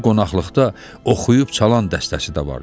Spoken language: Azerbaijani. Bu qonaqlıqda oxuyub çalan dəstəsi də var idi.